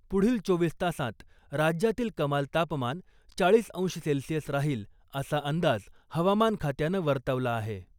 पुढील चोवीस तासांत राज्यातील कमाल तापमान चाळीस अंश सेल्सिअस राहील असा अंदाज हवामान खात्यानं वर्तवला आहे .